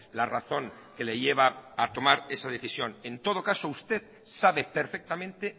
la razón que le lleva a tomar esa decisión en todo caso usted sabe perfectamente